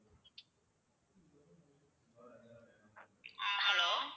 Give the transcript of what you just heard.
ஆஹ் hello